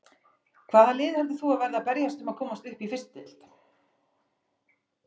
Hvaða lið heldur þú að verði að berjast um að komast upp í fyrstu deild?